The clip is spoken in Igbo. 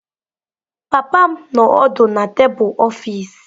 Papa m nọ ọdụ na tebụl ọfịs.